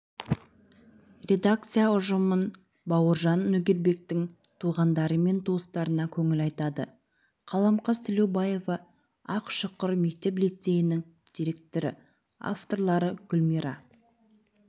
редакция ұжымы бауыржан нөгербектің туғандары мен туыстарына көңіл айтады қаламқас тілеубаева ақшұқыр мектеп-лицейінің директоры авторлары гүлмира